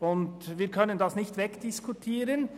Wir können es nicht wegdiskutieren: